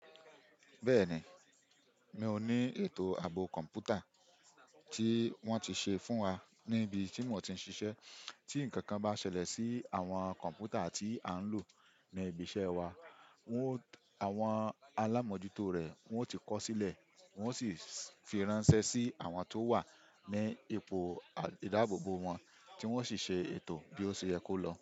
Bẹ́ẹ̀ni, mi ò ní ètò ààbò kọ̀m̀pútà tí wọ́n ti ṣe fún wa níbi tí mò ń ti ṣiṣẹ́. Tí ǹkankan bá ṣẹlẹ̀ sí àwọn kọ̀m̀pútà tí à ń lò ní ibi iṣẹ́ wa, àwọn alámọ̀jútó rẹ̀ wọn ó ti kọ̀ sílẹ̀, wọ́n ó sì fi ránṣẹ́ sí àwọn tó wà ní ipò ìdábòbò wọn tí wọ́n ó sì ṣe ètò bí ó ṣe yẹ kó lọ.